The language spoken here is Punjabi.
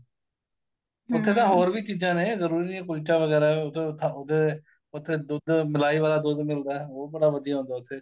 ਉੱਥੇ ਤਾਂ ਹੋਰ ਵੀ ਚੀਜ਼ਾਂ ਨੇ ਜਰੂਰੀ ਨੀਂ ਏ ਕੁਲਚਾ ਵਗੈਰਾ ਉਹਦੇ ਉਥੇ ਦੁੱਧ ਮਲਾਈ ਵਾਲਾ ਦੁੱਧ ਮਿਲਦਾ ਉਹ ਬੜਾ ਵਧੀਆ ਹੁੰਦਾ ਉੱਥੇ